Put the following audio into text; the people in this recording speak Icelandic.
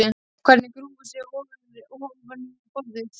Hann grúfir sig aftur ofan í borðið.